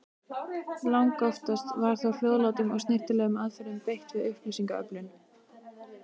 Langoftast var þó hljóðlátum og snyrtilegum aðferðum beitt við upplýsingaöflun.